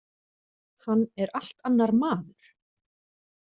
Hann er allt annar maður.